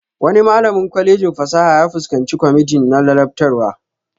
Wani malamin kwalejin fasaha ya fuskanci kwamiti na ladabtarwa